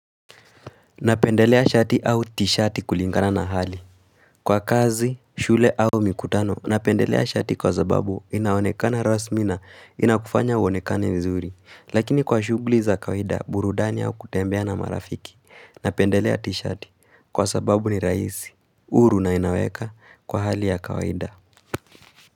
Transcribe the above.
Napendelea shati au tishati kulingana na hali Kwa kazi, shule au mikutano napendelea shati kwa sababu inaonekana rasmi na inakufanya uonekane nzuri Lakini kwa shughuli za kawaida burudani au kutembea na marafiki Napendelea tishati kwa sababu ni rahisi, uru na inaweka kwa hali ya kawida.